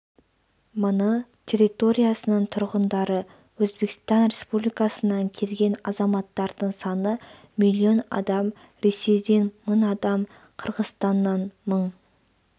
мыңы территориясының тұрғындары өзбекстан республикасынан келген азаматтардың саны млн адам ресейден мың адам қырғызстаннан мың